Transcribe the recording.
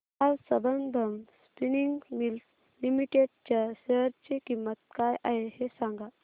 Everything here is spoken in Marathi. आज संबंधम स्पिनिंग मिल्स लिमिटेड च्या शेअर ची किंमत काय आहे हे सांगा